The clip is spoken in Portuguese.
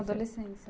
Adolescência.